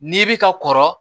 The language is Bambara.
N'i bi ka kɔrɔ